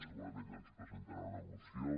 segurament ens presentarà una moció